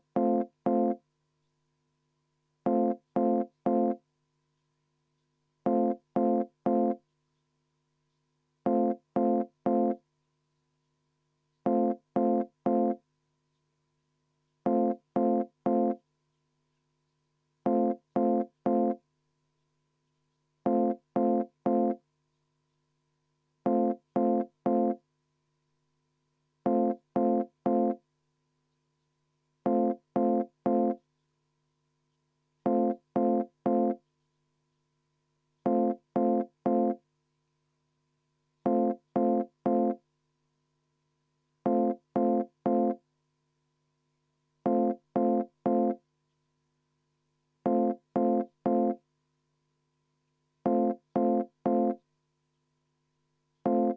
See ei olnud küll protseduuriline ja ma kohe istungi alguses märkisin, et meil on need üleval, aga selleks oleks pidanud tõesti ka seda nuppu vajutama, et mikrofon aktiveerida.